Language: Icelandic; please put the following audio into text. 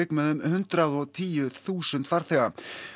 með um hundrað og tíu þúsund farþega